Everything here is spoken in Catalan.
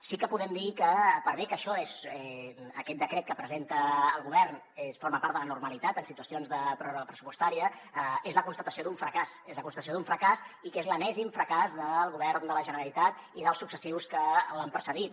sí que podem dir que per bé que aquest decret que presenta el govern forma part de la normalitat en situacions de pròrroga pressupostària és la constatació d’un fracàs és la constatació d’un fracàs i és l’enèsim fracàs del govern de la generalitat i dels successius que l’han precedit